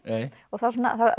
það